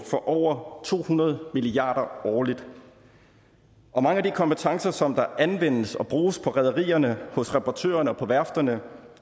for over to hundrede milliard kroner årligt mange af de kompetencer som anvendes og bruges på rederierne hos reparatørerne og på værfterne